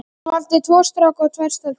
Hún valdi tvo stráka og tvær stelpur.